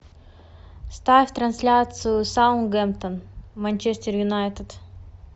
ставь трансляцию саутгемптон манчестер юнайтед